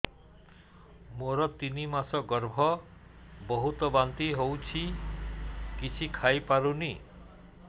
ମୋର ତିନି ମାସ ଗର୍ଭ ବହୁତ ବାନ୍ତି ହେଉଛି କିଛି ଖାଇ ପାରୁନି